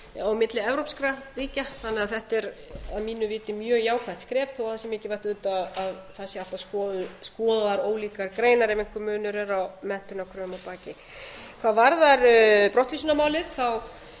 á milli evrópskra ríkja þannig að þetta er að mínu viti mjög jákvætt skref þó það sé mikilvægt auðvitað að það sé alltaf skoðaðar ólíkar greinar ef einhver munur er á menntunarkröfum að baki hvað varðar brottvísunarmálið